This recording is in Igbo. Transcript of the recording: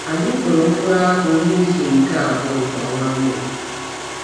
Anyị kụrụ mkpụrụ akpụ n’izu nke abụọ nke ọnwa Mee.